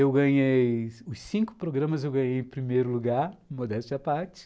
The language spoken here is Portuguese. Eu ganhei... os cinco programas eu ganhei em primeiro lugar, modéstia parti